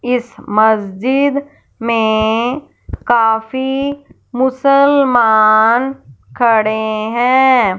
इस मस्जिद में काफी मुसलमान खड़े हैं।